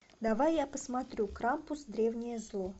давай я посмотрю крампус древнее зло